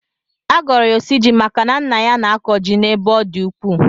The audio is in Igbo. A gọrọ ya osuji maka na nna ya na-akọ ji n'ebe ọ dị ukwuu.